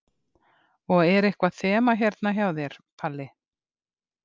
Og er eitthvað þema hérna hjá þér, Palli?